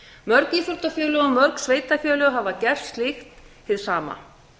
mörg íþróttafélög og mörg sveitarfélög hafa gert slíkt hið sama